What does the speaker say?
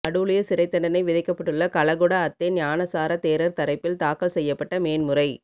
கடூழிய சிறைத்தண்டனை விதிக்கப்பட்டுள்ள கலகொட அத்தே ஞானசார தேரர் தரப்பில் தாக்கல் செய்யப்பட்ட மேன்முறை